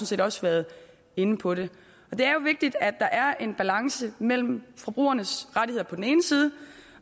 set også været inde på det det er jo vigtigt at der er en balance mellem forbrugernes rettigheder på den ene side